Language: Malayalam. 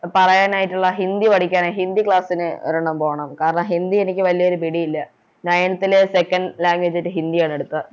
പറയാനായിട്ടിള്ള ഹിന്ദി പഠിക്കാനാ ഹിന്ദി Class ന് ഒരെണ്ണം പോണം കാരണം ഹിന്ദി എനിക്ക് വലിയൊരു പിടിയില്ല Nineth ലെ Second language ആയിട്ട് ഹിന്ദി ആണെടുത്തെ